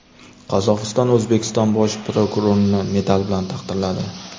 Qozog‘iston O‘zbekiston bosh prokurorini medal bilan taqdirladi.